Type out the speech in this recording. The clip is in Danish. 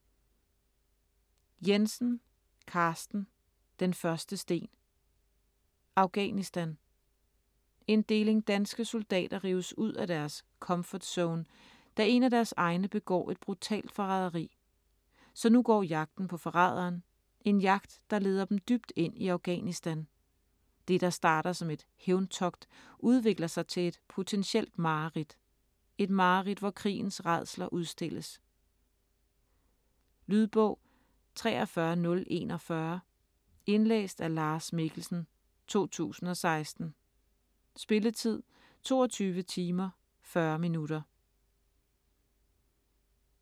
Jensen, Carsten: Den første sten Afghanistan. En deling danske soldater rives ud af deres "comfort zone", da en af deres egne begår et brutalt forræderi. Så nu går jagten på forræderen, en jagt der leder dem dybt ind i Afghanistan. Det, der starter som et hævntogt, udvikler sig til et potentielt mareridt. Et mareridt, hvor krigens rædsler udstilles. Lydbog 43041 Indlæst af Lars Mikkelsen, 2016. Spilletid: 22 timer, 40 minutter.